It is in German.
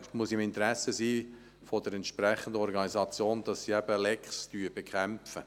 Es muss im Interesse der entsprechenden Organisation liegen, Lecks zu bekämpfen.